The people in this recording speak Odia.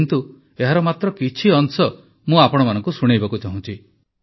କିନ୍ତୁ ଏହାର ମାତ୍ର କିଛି ଅଂଶ ମୁଁ ଆପଣମାନଙ୍କୁ ଶୁଣାଇବାକୁ ଚାହୁଁଛି